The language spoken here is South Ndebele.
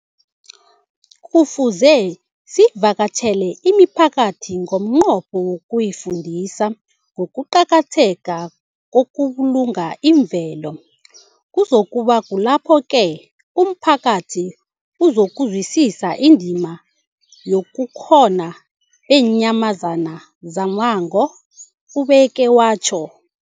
Kufuze sivakatjhele imiphakathi ngomnqopho wokuyifundisa ngokuqakatheka kokubulunga imvelo. Kuzoku ba kulapho-ke umphakathi uzokuzwisisa indima yobukhona beenyamazana zommango, ubeke watjho.